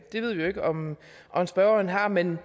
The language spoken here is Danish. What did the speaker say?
det ved vi jo ikke om om spørgeren har men